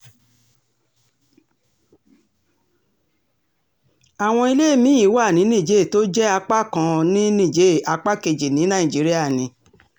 àwọn ilé mi-ín wà ní nílée tó jẹ́ apá kan ní níjẹ̀ẹ́ apá kejì ní nàìjíríà ni